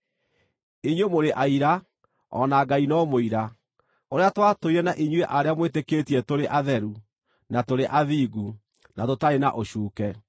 Inyuĩ mũrĩ aira, o na Ngai no mũira, ũrĩa twatũire na inyuĩ arĩa mwĩtĩkĩtie tũrĩ atheru, na tũrĩ athingu, na tũtarĩ na ũcuuke.